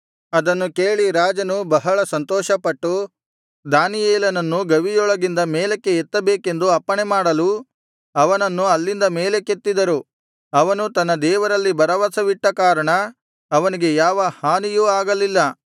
ಅದನ್ನು ಕೇಳಿ ರಾಜನು ಬಹಳ ಸಂತೋಷಪಟ್ಟು ದಾನಿಯೇಲನನ್ನು ಗವಿಯೊಳಗಿಂದ ಮೇಲಕ್ಕೆ ಎತ್ತಬೇಕೆಂದು ಅಪ್ಪಣೆಮಾಡಲು ಅವನನ್ನು ಅಲ್ಲಿಂದ ಮೇಲಕ್ಕೆತ್ತಿದರು ಅವನು ತನ್ನ ದೇವರಲ್ಲಿ ಭರವಸವಿಟ್ಟ ಕಾರಣ ಅವನಿಗೆ ಯಾವ ಹಾನಿಯೂ ಆಗಿರಲಿಲ್ಲ